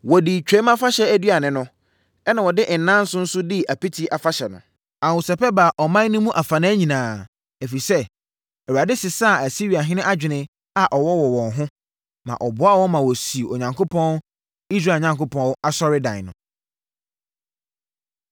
Wɔdii Twam Afahyɛ aduane no, ɛnna wɔde nnanson nso dii Apiti Afahyɛ no. Ahosɛpɛ baa ɔman no mu afanan nyinaa, ɛfiri sɛ, Awurade sesaa Asiriahene adwene a ɔwɔ wɔ wɔn ho, ma ɔboaa wɔn ma wɔsii Onyankopɔn, Israel Onyankopɔn, asɔredan no.